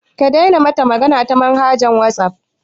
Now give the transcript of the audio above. Ka daina mata magana ta manhaja ta wasaf